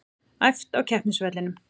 Æft á keppnisvellinum